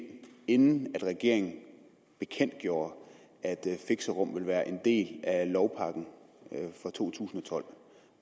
inden regeringen bekendtgjorde at fixerum ville være en del af lovpakken for to tusind og tolv